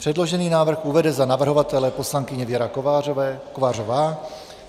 Předložený návrh uvede za navrhovatele poslankyně Věra Kovářová.